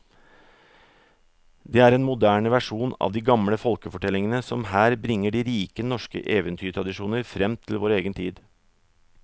Det er en moderne versjon av de gamle folkefortellingene som her bringer de rike norske eventyrtradisjoner fram til vår egen tid.